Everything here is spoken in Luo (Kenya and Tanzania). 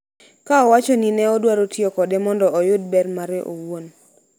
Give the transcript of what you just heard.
ka owacho ni ne odwaro tiyo kode mondo oyud ber mare owuon.